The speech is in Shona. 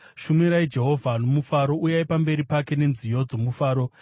Shumirai Jehovha nomufaro; uyai pamberi pake nenziyo dzomufaro.